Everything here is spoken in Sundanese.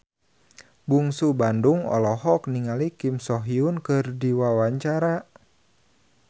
Bungsu Bandung olohok ningali Kim So Hyun keur diwawancara